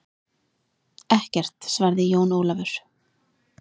Ekkert, svaraði Jón Ólafur.